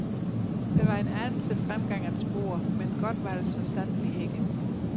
Der var en anelse fremgang at spore, men godt var det så sandelig ikke.